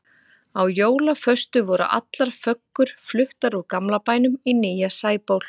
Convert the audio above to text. Á jólaföstu voru allar föggur fluttar úr gamla bænum í nýja Sæból.